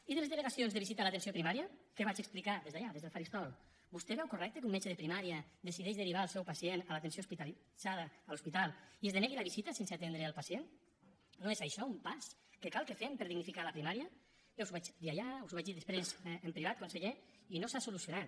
i de les denegacions de visita a l’atenció primària que vaig explicar des d’allà des del faristol vostè veu correcte que un metge de primària decideixi derivar el seu pacient a l’atenció hospitalitzada a l’hospital i es denegui la visita sense atendre el pacient no és això un pas que cal que fem per dignificar la primària jo us ho vaig dir allà us ho vaig dir després en privat conseller i no s’ha solucionat